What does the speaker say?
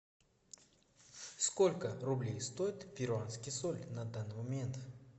сколько рублей стоит перуанский соль на данный момент